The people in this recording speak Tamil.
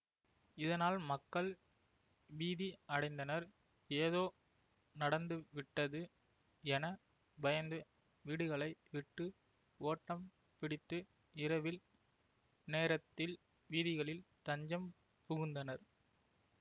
இதனால் மக்கள் பீதி அடைந்தனர் ஏதோ நடந்துவிட்டது என பயந்து வீடுகளை விட்டு ஓட்டம் பிடித்து இரவில் நேரத்தில் வீதிகளில் தஞ்சம் புகுந்தனர்